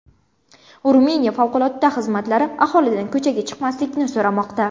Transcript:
Ruminiya favqulodda xizmatlari aholidan ko‘chaga chiqmaslikni so‘ramoqda.